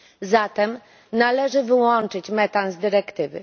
Zatem należy wyłączyć metan z dyrektywy.